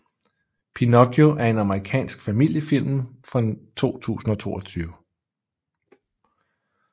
Pinocchio er en amerikansk familiefilm fra 2022